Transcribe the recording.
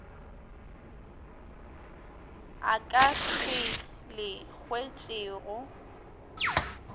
a ka se le hwetšego